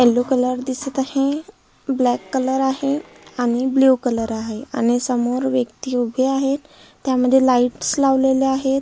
Yellow colour दिसत आहे black colour आहे आणि ब्ल्यु कलर आहे आणि समोर व्यक्ति उभे आहे त्यामध्ये लाइटस लावलेले आहे.